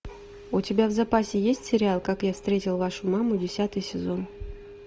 у тебя в запасе есть сериал как я встретил вашу маму десятый сезон